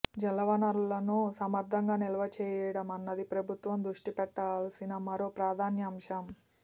జలవనరులను సమర్థంగా నిల్వ చేయడమన్నది ప్రభుత్వం దృష్టిపెట్టాల్సిన మరో ప్రాధాన్యాంశం